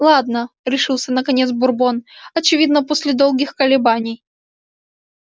ладно решился наконец бурбон очевидно после долгих колебаний